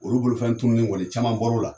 Olu bolofɛn tununi kɔni caman bɔra o la.